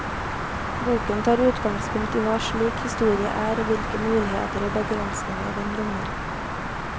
Boken tar utgangspunkt i hva slik historie er og hvilke muligheter og begrensninger den rommer.